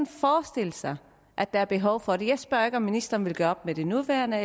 forestille sig at der er behov for det jeg spørger ikke om ministeren vil gøre op med det nuværende